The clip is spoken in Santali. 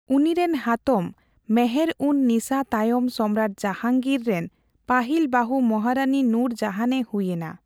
ᱩᱱᱤᱨᱮᱱ ᱦᱟᱛᱚᱢ ᱢᱮᱦᱮᱨᱼᱩᱱᱼᱱᱤᱥᱟᱹ ᱛᱟᱭᱚᱢ ᱥᱚᱢᱨᱟᱴ ᱡᱟᱦᱟᱝᱜᱤᱨ ᱡᱟᱦᱟᱝᱜᱤᱨ ᱨᱮᱱ ᱯᱟᱹᱦᱤᱞ ᱵᱟᱹᱦᱩ ᱢᱚᱦᱟᱨᱟᱱᱤ ᱱᱩᱨ ᱡᱟᱦᱟᱱ ᱮ ᱦᱩᱭ ᱮᱱᱟ ᱾